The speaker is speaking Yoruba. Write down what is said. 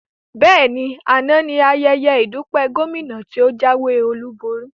Bẹ́ẹ̀ni, àná ní ayẹyẹ ìdúpẹ́ Gómìnà tí o jáwé olúborí